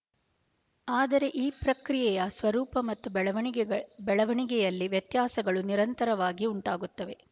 ಆದರೆ ಈ ಪ್ರಕ್ರಿಯೆಯ ಸ್ವರೂಪ ಮತ್ತು ಬೆಳವಣಿಗೆಳ್ ಬೆಳವಣಿಗೆಯಲ್ಲಿ ವ್ಯತ್ಯಾಸಗಳು ನಿರಂತರವಾಗಿ ಉಂಟಾಗುತ್ತವೆ